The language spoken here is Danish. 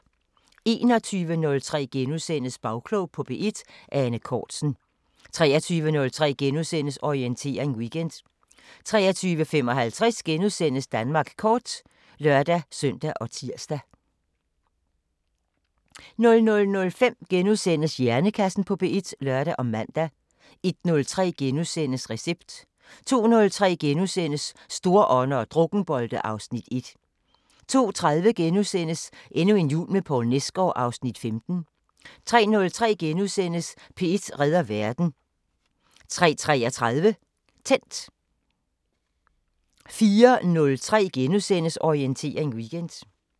21:03: Bagklog på P1: Ane Cortzen * 23:03: Orientering Weekend * 23:55: Danmark kort *(lør-søn og tir) 00:05: Hjernekassen på P1 *(lør og man) 01:03: Recept * 02:03: Storånder og drukkenbolte (Afs. 1)* 02:30: Endnu en jul med Poul Nesgaard (Afs. 15)* 03:03: P1 redder verden * 03:33: Tændt 04:03: Orientering Weekend *